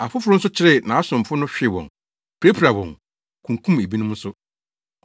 Afoforo nso kyeree nʼasomfo no hwee wɔn, pirapiraa wɔn, kunkum ebinom nso.